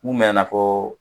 Mun mɛnɛna ko